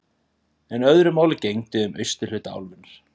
En öðru máli gegndi um austurhluta álfunnar.